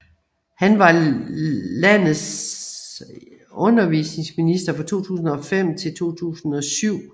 Han var landets i undervisningsminister fra 2005 til 2007